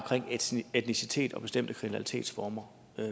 etnicitet og bestemte kriminalitetsformer